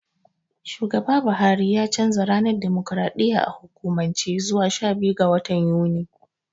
Shugaba Buhari ya canja ranar dimokraɗiyya a hukumance zuwa shabiyu ga watan Yuni.